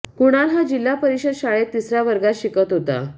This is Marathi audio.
कृणाल हा जिल्हा परिषद शाळेत तिसऱ्या वर्गात शिकत होता